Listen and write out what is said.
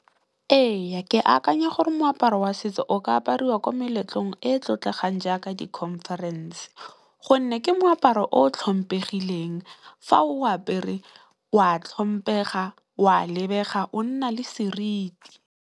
Ee ke akanya gore moaparo wa setso o ka apariwa ko meletlong e e tlotlegang jaaka di conference gonne ke moaparo o tlhompegileng fa o apere o a tlhompega o a lebega o nna le seriti.